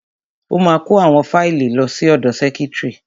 Ó ma kó àwọn fáìlì lọ sí ọ̀dọ sẹ́kítrì.